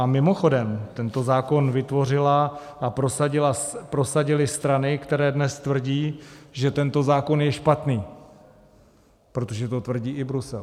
A mimochodem, tento zákon vytvořily a prosadily strany, které dnes tvrdí, že tento zákon je špatný, protože to tvrdí i Brusel.